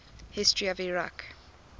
history of iraq